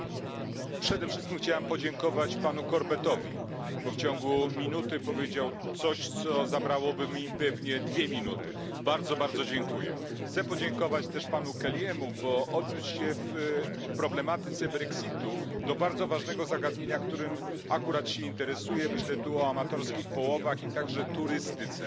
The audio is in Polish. Panie Przewodniczący! Przede wszystkim chciałbym podziękować panu Corbettowi, bo w ciągu minuty powiedział coś, co zabrałoby mi pewnie dwie minuty. Bardzo, bardzo dziękuję. Chciałbym też podziękować panu Kelly'emu, gdyż odniósł się w problematyce brexitu do bardzo ważnego zagadnienia, którym akurat się interesuje, myślę tu o amatorskich połowach i turystyce.